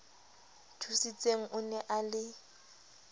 thusitseng o ne a le